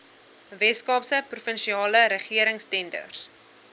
weskaapse provinsiale regeringstenders